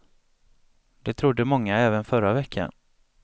Det trodde många även förra veckan.